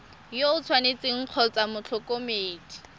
yo o tshwanetseng kgotsa motlhokomedi